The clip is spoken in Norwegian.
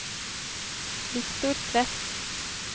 Viktor Tvedt